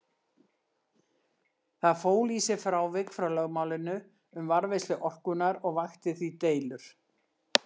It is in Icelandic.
Það fól í sér frávik frá lögmálinu um varðveislu orkunnar og vakti því deilur.